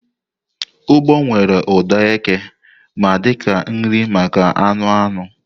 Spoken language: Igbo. ugbo nwere ụda eke ma dị ka nri maka anụ anụ.